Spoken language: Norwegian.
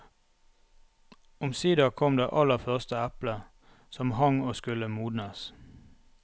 Omsider kom det aller første eplet som hang og skulle modnes.